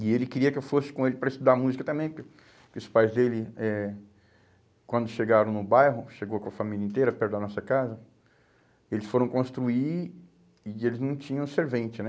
E ele queria que eu fosse com ele para estudar música também, porque porque os pais dele, eh quando chegaram no bairro, chegou com a família inteira perto da nossa casa, eles foram construir e eles não tinham servente, né?